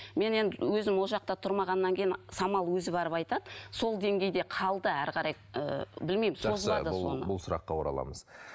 мен енді өзім ол жақта тұрмағаннан кейін самал өзі барып айтады сол денгейде қалды әрі қарай ы білмеймін жақсы бұл бұл сұраққа ораламыз